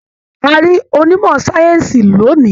A rí onímọ̀-sáyẹ́ǹsì lónìí.